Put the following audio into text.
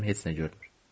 Gözüm heç nə görmür.